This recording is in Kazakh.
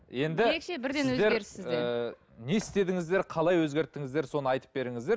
енді сіздер ііі не істедіңіздер қалай өзгерттіңіздер соны айтып беріңіздер